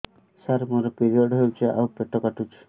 ସାର ମୋର ପିରିଅଡ଼ ହେଇଚି ଆଉ ପେଟ କାଟୁଛି